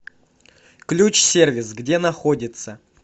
ключ сервис где находится